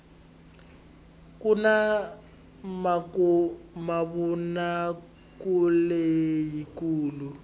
kuna mavonakuleleyi kulu